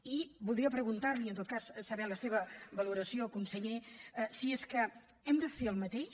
i voldria preguntar li i en tot cas saber la seva valoració conseller si és que hem de fer el mateix